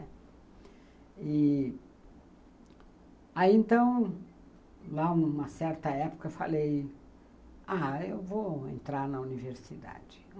E, aí, então, lá numa certa época, eu falei, ah, eu vou entrar na universidade.